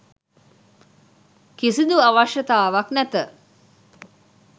කිසිදු අවශ්‍යතාවක් නැත.